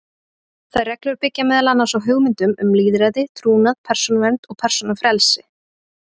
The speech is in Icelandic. Þær reglur byggja meðal annars á hugmyndum um lýðræði, trúnað, persónuvernd og persónufrelsi.